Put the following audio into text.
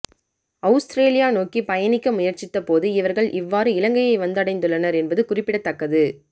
Australia நோக்கிப் பயணிக்க முயற்சித்த போது இவர்கள் இவ்வாறு இலங்கையை வந்தடைந்துள்ளனர் என்பது குறிப்படத்தக்கது